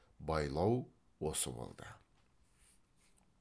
байлау осы болды